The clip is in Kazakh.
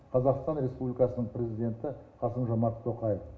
қазақстан республикасының президенті қасым жомарт тоқаев